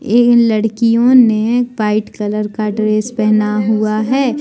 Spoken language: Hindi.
इन लड़कियों ने वाइट कलर का ड्रेस पहना हुआ है।